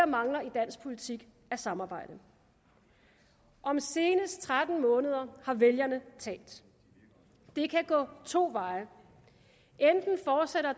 mangler i dansk politik er samarbejde om senest tretten måneder har vælgerne talt det kan gå to veje